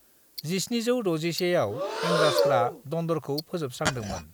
1761 आव इंराजफ्रा दन्दरखौ फोजोबस्रांदोंमोन।